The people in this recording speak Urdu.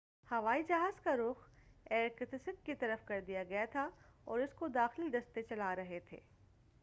ہوائی جہاز کا رخ ایرکتسک کی طرف کر دیا گیا تھا اور اس کو داخلی دستے چلارہے تھے